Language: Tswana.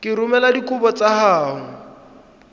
ka romela dikopo tsa gago